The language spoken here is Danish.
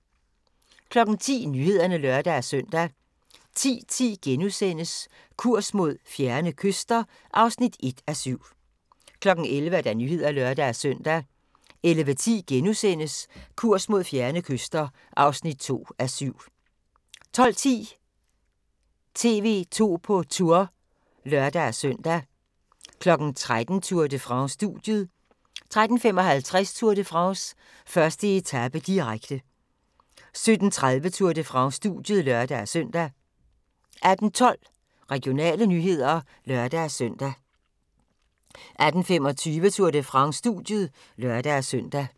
10:00: Nyhederne (lør-søn) 10:10: Kurs mod fjerne kyster (1:7)* 11:00: Nyhederne (lør-søn) 11:10: Kurs mod fjerne kyster (2:7)* 12:10: TV 2 på Tour (lør-søn) 13:00: Tour de France: Studiet 13:55: Tour de France: 1. etape, direkte 17:30: Tour de France: Studiet (lør-søn) 18:12: Regionale nyheder (lør-søn) 18:25: Tour de France: Studiet (lør-søn)